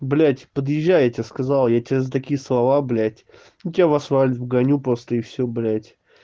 блять подъезжай я тебе сказала я тебя за такие слова блять я тебя в асфальт вгоню просто и всё блять